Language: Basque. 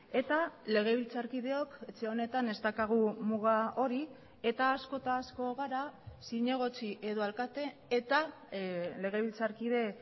eta legebiltzarkideok etxe honetan ez daukagu muga hori eta asko eta asko gara zinegotzi edo alkate eta legebiltzarkide